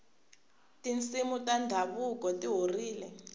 tinsimu ta ndhavuko ti horile